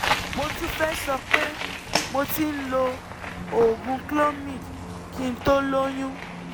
mo tún fẹ́ sọ pé mo ti ń lo oògùn cs] clomid kí n tó lóyún